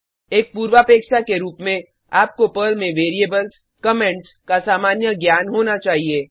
एक पूर्वापेक्षा के रूप में आपको पर्ल में वेरिएबल्स कमेंट्स का सामान्य ज्ञान होना चाहिए